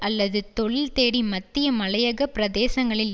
அல்லது தொழில் தேடி மத்திய மலையக பிரதேசங்களில்